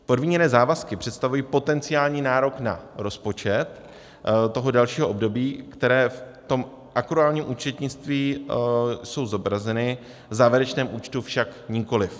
Podmíněné závazky představují potenciální nárok na rozpočet toho dalšího období, které v tom akruálním účetnictví jsou zobrazeny, v závěrečném účtu však nikoliv.